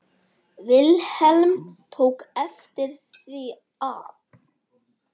Vilhelm tók eftir því að